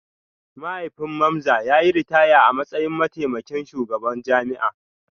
Mahaifin Mamza ya yi ritaya a matsayin mataimakin shugaban jami'a